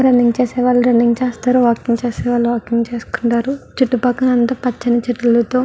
Running చేసేవాళ్ళు running చేస్తారు. Walking చేసే వాళ్ళు వాకింగ్ చేసుకుంటారు. చుట్టు పక్కల అంతా పచ్చని చెట్ల తో--